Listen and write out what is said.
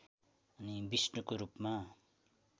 विष्णुको रूपमा